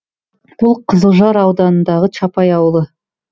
бұл қызылжар ауданындағы чапай ауылы